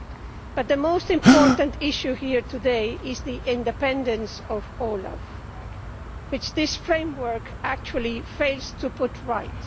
However, the most important issue here today is the independence of OLAF, which this framework actually fails to put right.